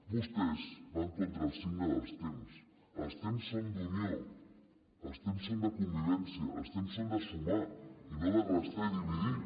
vostès van contra el signe dels temps els temps són d’unió els temps són de convivència els temps són de sumar i no de restar i dividir